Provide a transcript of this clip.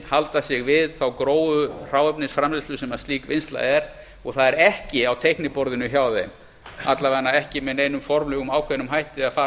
halda sig við þá grófu hráefnisframleiðslu sem slík vinnsla er og það er ekki á teikniborðinu hjá þeim að minnsta kosti ekki með neinum formlegum ákveðnum hætti að fara